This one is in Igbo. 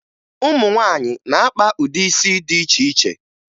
Ụmụ nwaanyị na-akpa ụdị isi dị iche iche